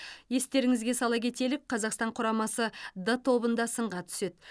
естеріңізге сала кетелік қазақстан құрамасы д тобында сынға түседі